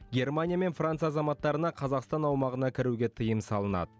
германия мен франция азаматтарына қазақстан аумағына кіруге тыйым салынады